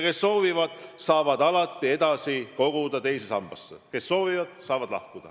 Kes soovivad, saavad alati edasi koguda teise sambasse, kes soovivad, saavad lahkuda.